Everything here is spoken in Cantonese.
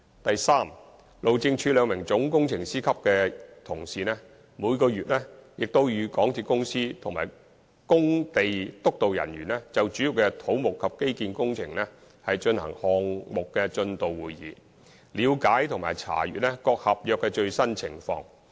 第三，路政署兩名總工程師級同事，每個月均與港鐵公司的工地督導人員，就主要的土木及機電工程舉行項目進度會議，了解和查閱各合約的最新情況。